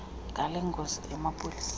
ngale ngozi emapoliseni